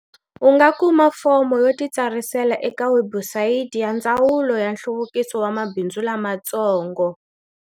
U nga kuma fomo yo titsarisela eka webusayiti ya Ndzawulo ya Nhluvukiso wa Mabindzu Lamatsongo.